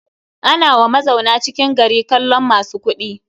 Ana wa mazauna cikin gari kallon masu kuɗi.